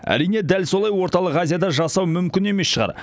әрине дәл солай орталық азияда жасау мүмкін емес шығар